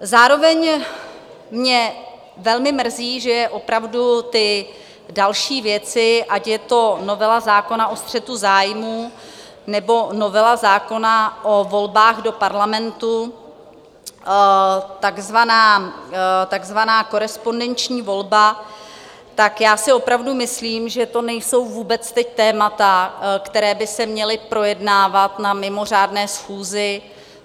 Zároveň mě velmi mrzí, že opravdu ty další věci, ať je to novela zákona o střetu zájmů, nebo novela zákona o volbách do parlamentu, takzvaná korespondenční volba, tak já si opravdu myslím, že to nejsou vůbec teď témata, která by se měla projednávat na mimořádné schůzi.